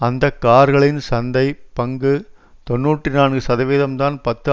அந்த கார்களின் சந்தை பங்கு தொன்னூற்றி நான்கு சதவீதம்தான் பத்து